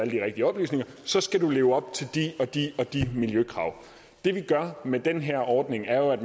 de rigtige oplysninger så skal du leve op til de og de og de miljøkrav det vi gør med den her ordning er jo at